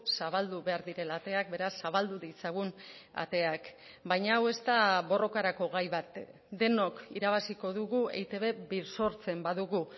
zabaldu behar direla ateak beraz zabaldu ditzagun ateak baina hau ez da borrokarako gai bat denok irabaziko dugu eitb birsortzen badugu